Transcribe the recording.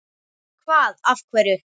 Hvað af hverju?